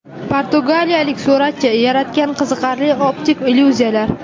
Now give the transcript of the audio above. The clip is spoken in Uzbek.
Portugaliyalik suratchi yaratgan qiziqarli optik illyuziyalar .